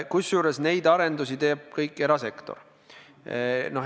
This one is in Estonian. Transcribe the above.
Kusjuures kõiki neid arendusi teeb erasektor.